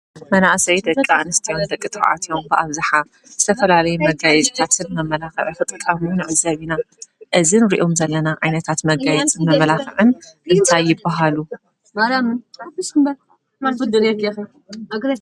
መናእሰይ ደቂ ኣንስትዮ ደቂ ተባዕትዮ ብኣብዛሓ ዝተፈላለየ መጋየፂታት መመላክዕ ክጥቀም ንዕዘብ እና ።እዚ ነርኦም ዘለና ዓይነታት መጋየፂ መመላክዒን እንታይ ይባሃሉ?